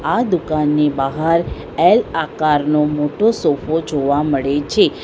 આ દુકાનની બહાર એલ આકારનો મોટો સોફા જોવા મળે છે.